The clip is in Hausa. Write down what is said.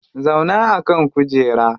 Zauna a kan kujera